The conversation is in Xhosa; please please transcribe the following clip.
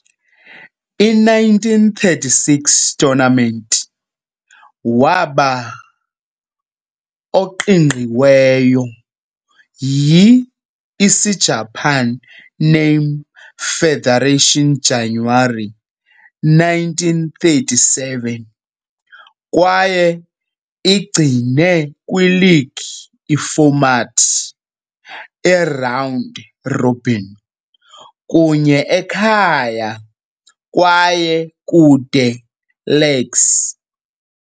I-1936 tournament waba oqingqiweyo yi - Isijapani Name Federation January 1937 kwaye igcine kwi league ifomati, "eround robin", kunye ekhaya kwaye kude legs.